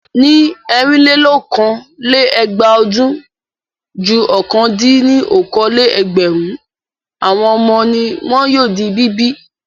Ní ẹ̀rinlélokòó-lé-ẹgbàá ọdún, ju ọ̀kan-dín-ní-okòó-lé-ẹgbẹ̀rún àwọn ọmọ ni wọ́n yóò di bíbí.